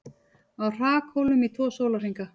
Á hrakhólum í tvo sólarhringa